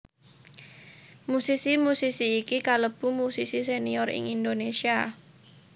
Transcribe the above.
Musisi musisi iki kalebu musisi senior ing Indonesia